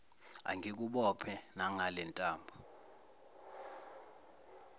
angikubophe nangale ntambo